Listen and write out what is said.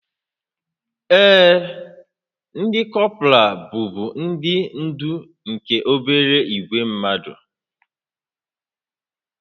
Ee, ndị kọpral bụbu ndị ndú nke obere ìgwè mmadụ